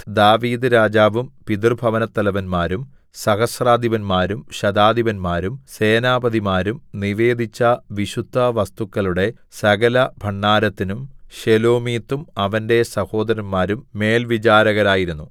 ദാവീദ്‌ രാജാവും പിതൃഭവനത്തലവന്മാരും സഹസ്രാധിപന്മാരും ശതാധിപന്മാരും സേനാപതിമാരും നിവേദിച്ച വിശുദ്ധവസ്തുക്കളുടെ സകലഭണ്ഡാരത്തിനും ശെലോമീത്തും അവന്റെ സഹോദരന്മാരും മേൽവിചാരകരായിരുന്നു